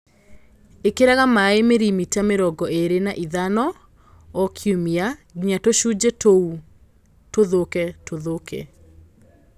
Ĩkĩraga maĩ mirimita mĩrongo ĩrĩ na ithano o kiumia nginya tũcunjĩ tũu tũthũke tũthũke.